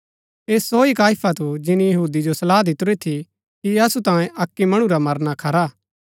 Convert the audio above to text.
ऐह सो ही काइफा थू जिनी यहूदी जो सलाह दितुरी थी कि असु तांयें अक्की मणु रा मरना खरा हा